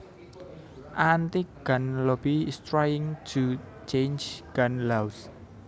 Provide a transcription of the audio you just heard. anti gun lobby is trying to change gun laws